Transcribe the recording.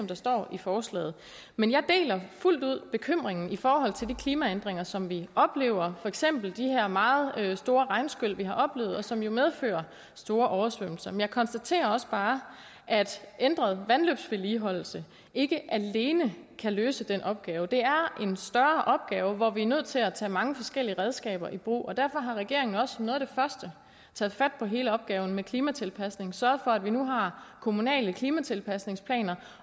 der står i forslaget men jeg deler fuldt ud bekymringen i forhold til de klimaændringer som vi oplever for eksempel de her meget store regnskyl vi har oplevet og som jo medfører store oversvømmelser men jeg konstaterer også bare at en ændret vandløbsvedligeholdelse ikke alene kan løse den opgave det er en større opgave hvor vi er nødt til at tage mange forskellige redskaber i brug og derfor har regeringen jo også som noget af det første taget fat på hele opgaven med klimatilpasning og sørget for at vi nu har kommunale klimatilpasningsplaner